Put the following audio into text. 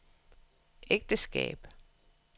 ægteskab